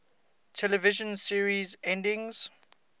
television series endings